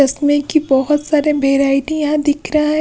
इसमें की बहोत सारे वैरायटीयां दिख रहा--